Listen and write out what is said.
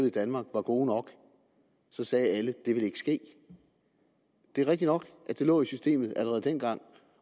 i danmark er gode nok så sagde det ville ikke ske det er rigtigt nok at det lå i systemet allerede dengang